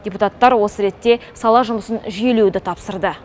депутаттар осы ретте сала жұмысын жүйелеуді тапсырды